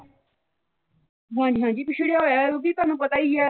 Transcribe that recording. ਹਾਂ ਜੀ ਹਾਂ ਜੀ ਪਿਛੜਿਆ ਹੋਇਆ ਉਹ ਵੀ ਤੁਹਾਨੂੰ ਪਤਾ ਹੀ ਐ